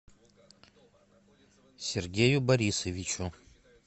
сергею борисовичу